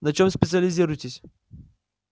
на чем специализируетесь